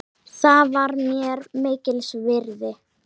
Það var mér mikils virði.